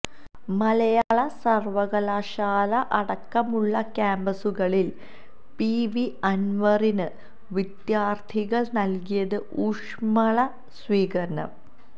മലയാളം സര്വ്വകലാശാല അടക്കമുള്ള ക്യാമ്പസുകളില് പി വി അന്വറിന് വിദ്യാര്ത്ഥികള് നല്കിയത് ഊഷ്മള സ്വീകരണം